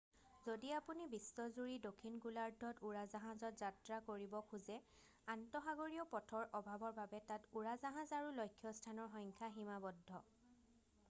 যদি আপুনি বিশ্ব জুৰি দক্ষিণ গোলাৰ্ধত উৰাজাহাজত যাত্ৰা কৰিব খোজে আন্তসাগৰীয় পথৰ অভাৱৰ বাবে তাত উৰাজাহাজ আৰু লক্ষ্যস্থানৰ সংখ্যা সীমাবদ্ধ